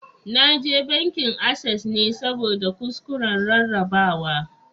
Na je bankin Access ne saboda kuskuren rarrabawa